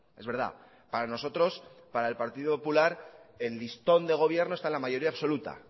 es verdad para nosotros para el partido popular el listón de gobierno está en la mayoría absoluta